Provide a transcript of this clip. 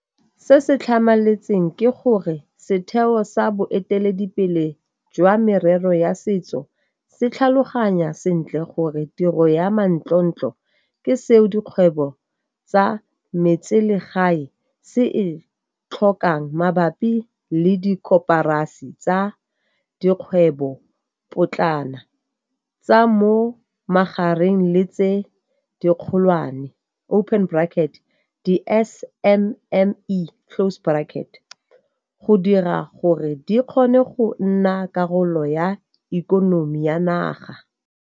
Se se tlhamaletseng ke gore setheo sa boeteledipele jwa merero ya setso se tlhaloganya sentle gore tiro ya manontlhotlho ke seo dikgwebo tsa metseselegae se e tlhokang mabapi le dikoporasi tsa dikgwebopotlana, tsa mo magareng le tse dikgolwane, di-SMME, go dira gore di kgone go nna karolo ya ikonomi ya naga.